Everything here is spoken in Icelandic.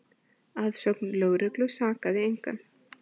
Að sögn lögreglu sakaði engan